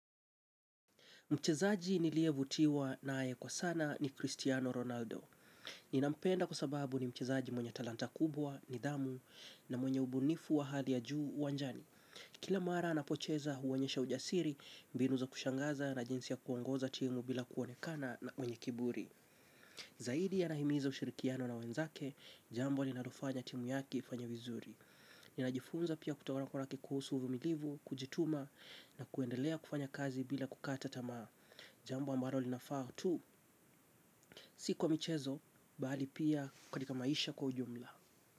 Mchezaji niliyevutiwa nae kwa sana ni Cristiano Ronaldo. Ninampenda kwa sababu ni mchezaji mwenye talanta kubwa, nidhamu na mwenye ubunifu wa hali ya juu uwanjani. Kila mara anapocheza huonyesha ujasiri mbinu za kushangaza na jinsi ya kuongoza timu bila kuonekana mwenye kiburi. Zaidi anahimiza ushirikiano na wenzake, jambo linalofanya timu yake ifanye vizuri. Ninajifunza pia kutawala na kwa raki kuhusu uvumilivu, kujituma na kuendelea kufanya kazi bila kukata tamaa. Jambo ambalo lina faa tu sikwa michezo, bali pia katika maisha kwa ujumla.